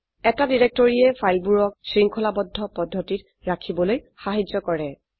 এটা ডিৰেক্টৰীয়ে ফাইলবোৰক শৃঙ্খলাবদ্ধ পদ্ধতিত ৰাখিবলৈ সাহায্য কৰে